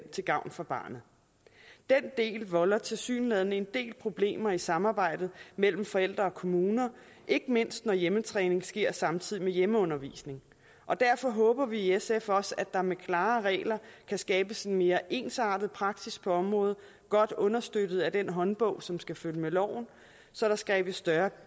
til gavn for barnet den del volder tilsyneladende en del problemer i samarbejdet mellem forældre og kommuner ikke mindst når hjemmetræning sker samtidig med hjemmeundervisning derfor håber vi i sf også at der med klare regler kan skabes en mere ensartet praksis på området godt understøttet af den håndbog som skal følge med loven så der skabes større